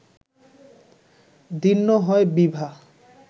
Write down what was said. দীর্ণ হয় বিভা